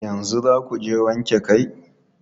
Yanzu za ku je wanke kai?